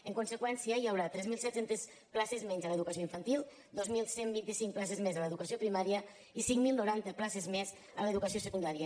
en conseqüència hi haurà tres mil set cents places menys a l’educació infantil dos mil cent i vint cinc places més a l’educació primària i cinc mil noranta places més a l’educació secundària